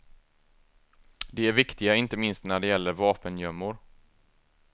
De är viktiga inte minst när det gäller vapengömmor.